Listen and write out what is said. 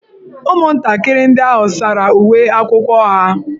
Ụmụntakịrị ndị ahụ sara uwe akwụkwọ ha.